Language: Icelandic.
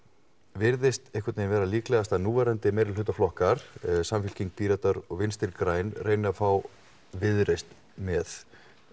virðist vera líklegast að núverandi meirihlutaflokkar Samfylking Píratar og vinstri græn reyna að fá Viðreisn með